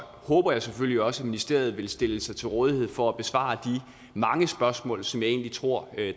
håber jeg selvfølgelig også at ministeriet vil stille sig til rådighed for at besvare de mange spørgsmål som jeg egentlig tror